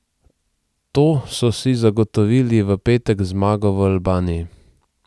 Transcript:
To so si zagotovili v petek z zmago v Albaniji.